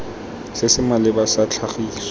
se se maleba sa tlhagiso